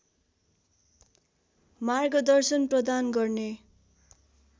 मार्गदर्शन प्रदान गर्ने